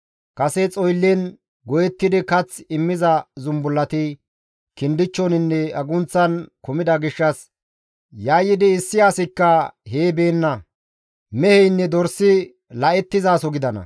Kase xoyllen goyettidi kath immiza zumbullati kindichchoninne agunththan kumida gishshas yayyidi issi asikka hee beenna; meheynne dorsi la7ettizaso gidana.